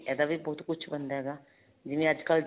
ਇਹਦਾ ਵੀ ਬਹੁਤ ਕੁੱਝ ਬਣਦਾ ਹੈਗਾ ਜਿਵੇਂ ਅੱਜਕਲ